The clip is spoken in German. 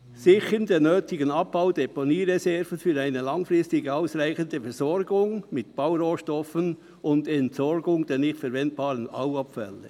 Sichern der nötigen Abbau- und Deponiereserven für eine langfristig ausreichende Versorgung mit Baurohstoffen und Entsorgung der nicht verwendbaren Bauabfälle.